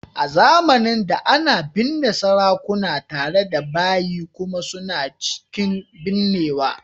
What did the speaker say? A zamanin da, ana binne sarakuna tare da bayi kuma suna cikin binnewa